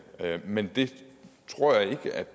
men det tror jeg ikke